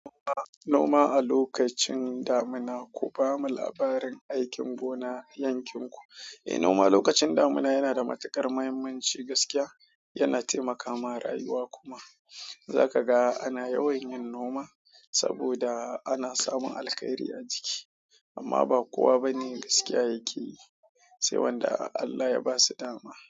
Noma, noma a lokacin damuna, ku bamu labarin aikin gona a yankin ku. Eh noma lokacin damina yana da mutuƙar muhimmanci gaskiya yana taimakawa ma rayuwa. Za ka ga ana yawan yin noma saboda ana samun alkairi a ciki, amma ba kowa bane gaskiya yake yi, sai wanda Allah ya ba su dama.